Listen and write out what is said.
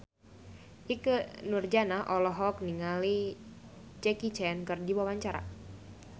Ikke Nurjanah olohok ningali Jackie Chan keur diwawancara